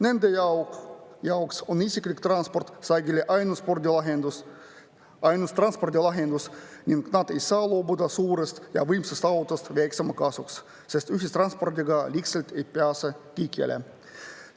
Nende jaoks on isiklik auto sageli ainus transpordilahendus ning nad ei saa loobuda suurest ja võimsast autost väiksema kasuks, sest lihtsalt ei pääse kõikjale.